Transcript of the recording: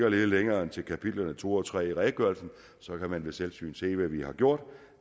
at lede længere end til kapitlerne to og tre i redegørelsen hvor man ved selvsyn kan se hvad vi har gjort